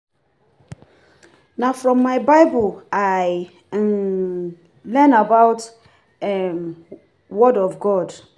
Na from my Bible I um learn about um word of God.